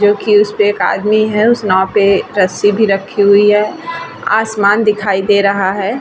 जो की उस पे एक आदमी है उस नाव पे रस्सी भी रखी हुई है आसमान दिखाई दे रहा है ।